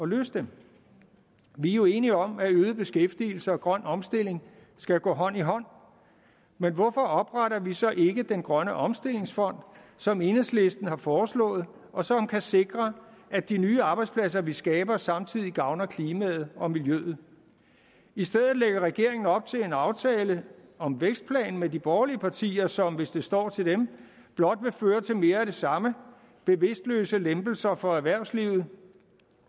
løse dem vi er jo enige om at øget beskæftigelse og grøn omstilling skal gå hånd i hånd men hvorfor opretter vi så ikke den grønne omstillingsfond som enhedslisten har foreslået og som kan sikre at de nye arbejdspladser vi skaber samtidig gavner klimaet og miljøet i stedet lægger regeringen op til en aftale om vækstplanen med de borgerlige partier som hvis det står til dem blot vil føre til mere af det samme bevidstløse lempelser for erhvervslivet